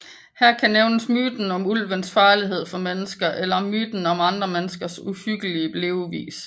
Her kan nævnes myten om ulvens farlighed for mennesker eller myten om de andre menneskers uhyggelige levevis